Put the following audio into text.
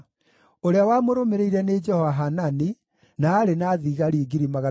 ũrĩa wamũrũmĩrĩire nĩ Jehohanani, na aarĩ na thigari 280,000;